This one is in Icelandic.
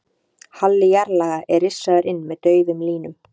Halli jarðlaga er rissaður inn með daufum línum.